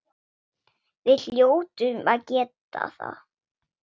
Við hljótum að geta það.